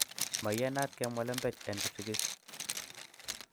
Maiyanat kemwa lembech en kipsigis